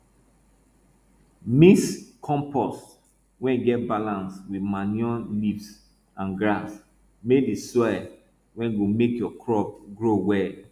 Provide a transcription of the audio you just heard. mix compost wey get balance with manure leaves and grass make di soil wey go make your crop grow well